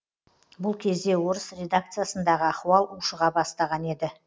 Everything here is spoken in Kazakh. бұл кезде орыс редакциясындағы ахуал ушыға бастаған еді